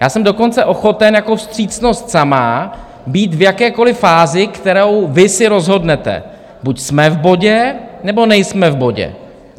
Já jsem dokonce ochoten jako vstřícnost sama být v jakékoliv fázi, kterou vy si rozhodnete - buď jsme v bodě, nebo nejsme v bodě.